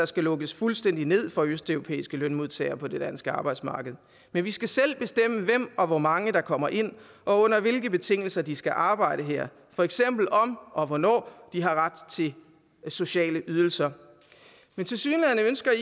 skal lukkes fuldstændig ned for østeuropæiske lønmodtagere på det danske arbejdsmarked men vi skal selv bestemme hvem og hvor mange der kommer ind og under hvilke betingelser de skal arbejde her for eksempel om og hvornår de har ret til sociale ydelser men tilsyneladende ønsker